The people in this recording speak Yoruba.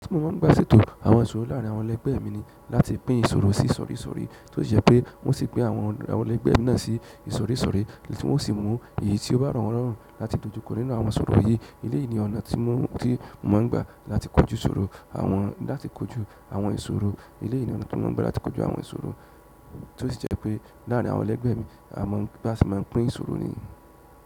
Tí mo máa ń gbà ṣètò àwọn ìṣòro láàárín àwọn ẹlẹ́gbẹ̀ẹ́ mi ni láti pín ìṣòro sí isórí isórí, tó sì jẹ́ pé wọ́n sì pín àwọn ẹlẹ́gbẹ̀ẹ́ náà sí ìsòrí isórí tí wọ́n o sì mú èyí tí ó ba rọwọn lọrùn láti dojúkọ nínú àwọn ìṣòro yìí. Eleyìí ni ọ̀nà tí mo mọ̀ n gbà láti kojú ìṣòro àwọn láti kojú àwọn ìṣòro. Eleyìí ni ọ̀nà tí mo mọ̀ ọ́n gbà láti kojú àwọn ìṣòro, tó sì jẹ́ pé láàrin àwọn ẹlẹ́gbẹ̀ẹ́ mi, a máa ń bá ṣe máa ń pín ìṣòro nìyí.